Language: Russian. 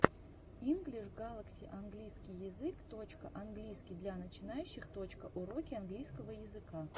инглиш галакси английский язык точка английский для начинающих точка уроки английского языка